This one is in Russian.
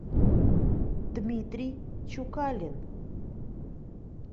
дмитрий чукалин